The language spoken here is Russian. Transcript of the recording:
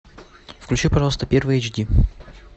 включи пожалуйста первый эйч ди